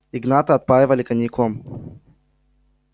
игната отпаивали коньяком